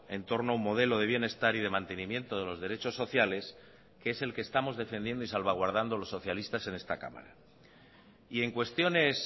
en torno a un modelo de bienestar y de mantenimiento de los derechos sociales que es el que estamos defendiendo y salvaguardando los socialistas en esta cámara y en cuestiones